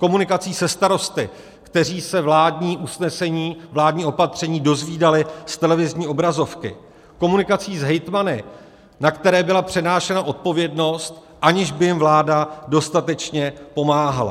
Komunikací se starosty, kteří se vládní usnesení, vládní opatření dozvídali z televizní obrazovky, komunikací s hejtmany, na které byla přenášena odpovědnost, aniž by jim vláda dostatečně pomáhala.